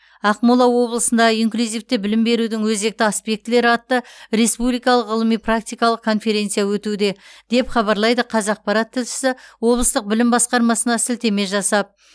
ақмола облысында инклюзивті білім берудің өзекті аспектілері атты республикалық ғылыми практикалық конференция өтуде деп хабарлайды қазақпарат тілшісі облыстық білім басқармасына сілтеме жасап